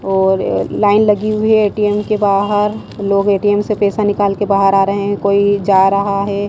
और लाइन लगी हुई है एटीएम के बाहर। लोग एटीएम से पैसा निकाल के बाहर आ रहे हैं कोई जा रहा हैं।